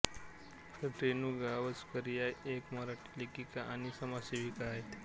रेणू गावसकर या एक मराठी लेखिका आणि समाजसेविका आहेत